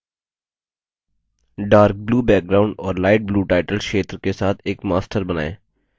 dark blue background और light blue title क्षेत्र के साथ एक master बनाएँ